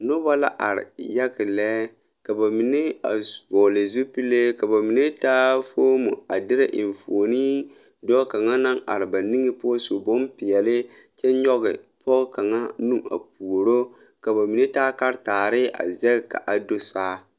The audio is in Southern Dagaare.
Nobɔ la are yaga lɛ ka ba mine a vɔgle zupilee ka ba mine taa foomo a dirɛ enfuone dɔɔ kaŋa naŋ are ba niŋe poɔ su bonpeɛle kyɛ nyoge pɔɔ kaŋa nu a puuro ka ba mine taa karetaare a zɛge ka a do saa.